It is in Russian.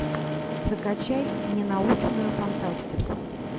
закачай ненаучную фантастику